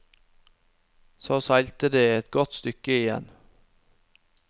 Så seilte de et godt stykke igjen.